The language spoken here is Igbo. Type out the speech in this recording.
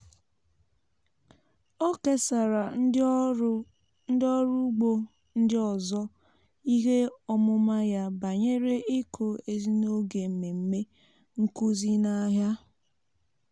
ọ kesara ndị ọrụ ugbo ndị ọzọ ihe ọmụma ya banyere ịkụ ezì n'oge mmemme nkuzi n'ahịa.